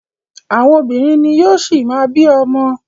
Àwọn obìnrin ni yóò ṣi má bí ọmọ.